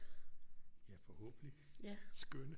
Ja forhåbentlig skønne